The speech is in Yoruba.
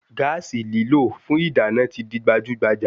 Gáàsì lílò fún ìdáná ti di gbajúgbajà